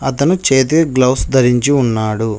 అతను చేతి గ్లౌజ్ ధరించి ఉన్నాడు.